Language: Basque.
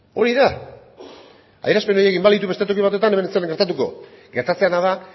hori da adierazpen horiek egin izan balitu beste toki batetan hemen ez zen ezer gertatutako gertatzen dena da